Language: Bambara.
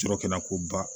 Sɔrɔ kɛnɛ ko ba